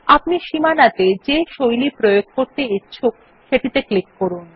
আপনি সীমানাত়ে যে স্টাইল প্রয়োগ করতে ইচ্ছুক সেটিতে ক্লিক করুন